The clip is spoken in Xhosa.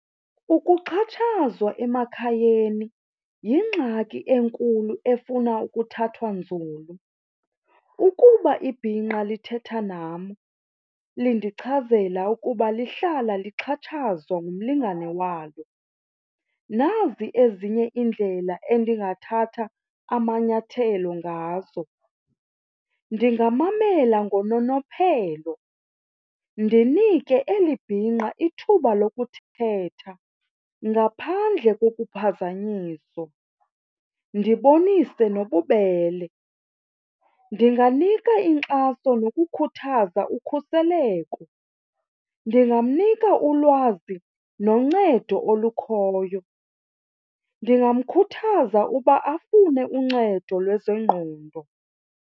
Ukuxhatshazwa emakhayeni yingxaki enkulu efuna ukuthathwa nzulu. Ukuba ibhinqa lithetha nam lindichazela ukuba lihlala lixhatshazwa ngumlingane walo, nazi ezinye iindlela endingathatha amanyathelo ngazo. Ndingamamela ngononophelo ndinike eli bhinqa ithuba lokuthetha ngaphandle kokuphazanyiso ndibonise nobubele. Ndinganika inkxaso nokukhuthaza ukhuseleko, ndingamnika ulwazi noncedo olukhoyo, ndingamkhuthaza uba afune uncedo lwezengqondo.